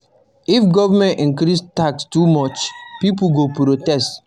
If government increase tax too much, pipo go protest